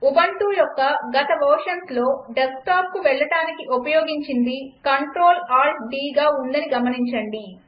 Ubuntu యొక్క గత వెర్షన్స్లో డెస్క్టాప్కు వెళ్లడానికి ఉపయోగించింది CltAltDగా ఉందని గమనించండి